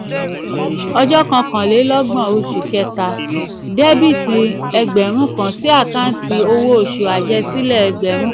ọjọ́ kọkànlélọ́gbọ̀n oṣù kẹta dẹ́bíìtì ẹgbẹ̀rún kan sí àkáǹtì owó oṣù àjẹsílẹ̀ ẹgbẹ̀rún.